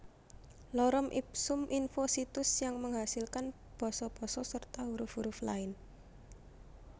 Lorem ipsum info Situs yang menghasilkan basa basa serta huruf huruf lain